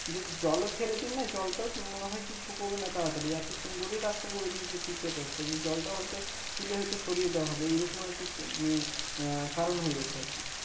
যদি জল ও ফেলে দিন না জলটাও মনে হয় যে শুকোবে না তাড়াতাড়ি এতো সুন্দরী রাস্তা করে দিয়েছে পিচ এর রাস্তা যে জলটাও হয়ত তুলে হয়তো সরিয়ে দেওয়া হবে এইরকম আর কি মানে কারণ হয়ে গেছে আর কি